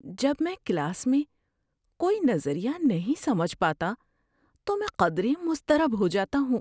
جب میں کلاس میں کوئی نظریہ نہیں سمجھ پاتا تو میں قدرے مضطرب ہو جاتا ہوں۔